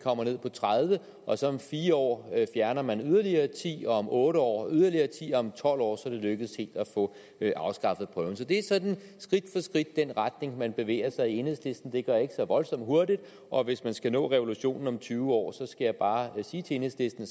kommer ned på tredive og så om fire år fjerner man yderligere ti og om otte år yderligere ti og om tolv år er det lykkedes helt at få afskaffet prøven så det er sådan skridt for skridt den retning man bevæger sig i i enhedslisten det går ikke så voldsomt hurtigt og hvis man skal nå revolutionen om tyve år skal jeg bare sige til enhedslisten